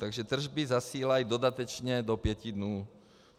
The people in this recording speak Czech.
Takže tržby zasílají dodatečně do pěti dnů.